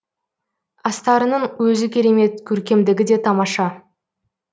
астарының өзі керемет көркемдігі де тамаша